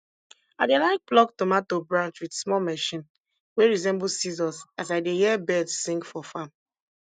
i dey like pluck tomato branch wit small machine wey resemble scissors as i dey hear birds sing for farm